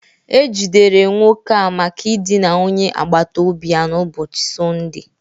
E jidere nwoke a maka idina onye agbata obi ya n'ụbọchị Sọnde